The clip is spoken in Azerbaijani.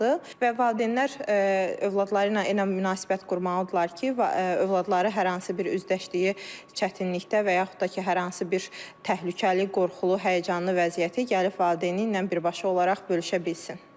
Və valideynlər övladları ilə elə münasibət qurmalıdırlar ki, övladları hər hansı bir üzdəşdiyi çətinlikdə və yaxud da ki, hər hansı bir təhlükəli, qorxulu, həyəcanlı vəziyyəti gəlib valideyni ilə birbaşa olaraq bölüşə bilsin.